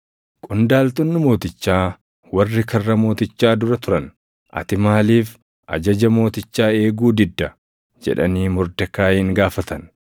Qondaaltonni mootichaa warri karra mootichaa dura turan, “Ati maaliif ajaja mootichaa eeguu didda?” jedhanii Mordekaayiin gaafatan.